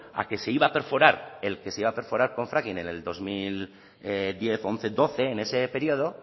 a que se iba a perforar el que se iba a perforar con fracking en el dos mil diez once doce en ese periodo